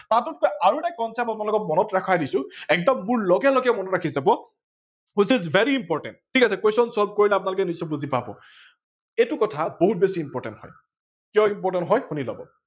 তাতোতকৈ আৰু এটা concept আপোনালোকক মনত ৰখাই দিছো এগদম মোৰ লগে লগে মনত ৰাখি যাব which is very important ঠিক আছে question solve কৰিলে নিশ্চয় আপোনালোকে বুজি পাব এইটো কথা বহুত বেছি important হয় কিয় important হয় শুনি লওক